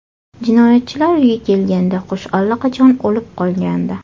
Jinoyatchilar uyga kelganda qush allaqachon o‘lib qolgandi.